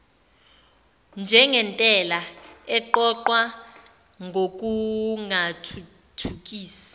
njengentela eqoqwa ngokungathuthukisi